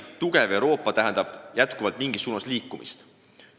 Tugev Euroopa tähendab pidevalt mingis suunas liikumist.